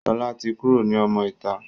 Sọlá tí kúrò ní ọmọ ìta.